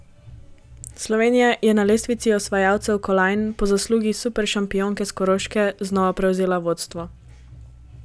Slovenija je na lestvici osvajalcev kolajn po zaslugi superšampionke s Koroške znova prevzela vodstvo.